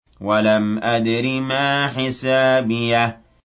وَلَمْ أَدْرِ مَا حِسَابِيَهْ